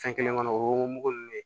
Fɛn kelen kɔnɔ o y'o mugu ninnu ye